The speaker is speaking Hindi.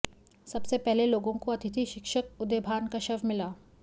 सबसे पहले लोगों को अतिथि शिक्षक उदयभान का शव मिला